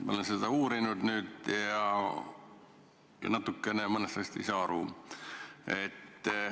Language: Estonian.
Ma olen seda teemat natukene uurinud ja mõnest asjast ei saa aru.